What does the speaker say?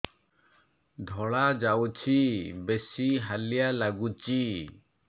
ଧଳା ଯାଉଛି ବେଶି ହାଲିଆ ଲାଗୁଚି